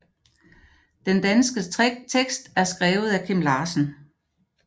Den danske tekst er skrevet af Kim Larsen